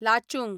Lachung